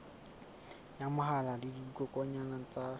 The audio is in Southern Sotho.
ya mahola le dikokwanyana ka